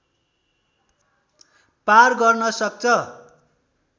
पार गर्न सक्छ